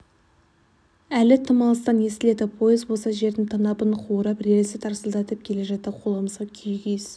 әлі тым алыстан естіледі пойыз болса жердің танабын қуырып рельсті тарсылдатып келе жатты қоламса күйік иіс